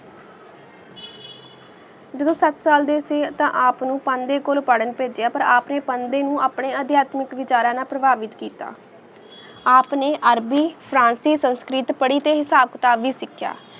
ਜਿਦੁਨ ਸਾਥ ਸਾਲ ਡੀ ਸੀ ਆਪਨੂ ਪੰਡੀ ਕੁਲੁਨ ਪੀਰਾਂ ਪੇਜੇਯਾ ਪਰ ਅਪਨ੍ਯਨ ਪੜੇੰ ਨੂ ਅਪਨ੍ਯਨ ਅਦ੍ਯਾਤਕ ਵੇਚ੍ਰਾਂ ਨਾ ਪੇਰ੍ਬਾਬੇਤ ਕੀਤਾ ਅਪਨ੍ਯਨ ਅਰਬੀ ਫਰਾਸੀ ਸੇਨ੍ਸ੍ਲਿਤ ਪਾਰੀ ਟੀ ਹੇਸ੍ਬ ਕਿਤਾਬ ਵੀ ਸੇਖੇਯਾ